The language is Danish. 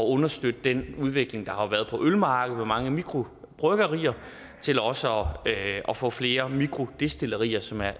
understøtte den udvikling der har været på ølmarkedet med mange mikrobryggerier til også at få flere mikrodestillerier som er